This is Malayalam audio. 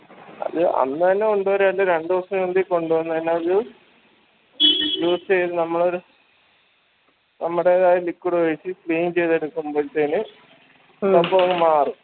അത് അന്ന് എന്നെ കൊണ്ട് വര അയിന്റെ രണ്ട് ദിവസം കയ്‌ൻ കൊണ്ട് വന്ന് കൈനാല് use എയ്ത് നമ്മളൊരു നമ്മടേതായ ഒരു liquid ഉപയോഗിച്ച് clean ചെയ്ത് എടുക്കുമ്പളത്തേന് സംഭവം മാറും